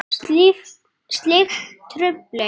Slíkt trufli.